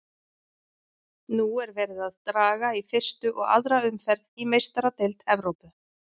Nú er verið að draga í fyrstu og aðra umferð í Meistaradeild Evrópu.